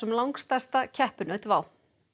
langstærsta keppinaut WOW